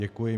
Děkuji.